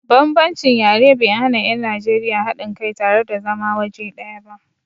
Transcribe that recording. Bambancin yare bai hana 'yan Najeriya haɗin kai tare da zama waje ɗaya ba.